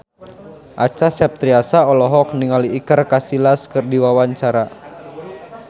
Acha Septriasa olohok ningali Iker Casillas keur diwawancara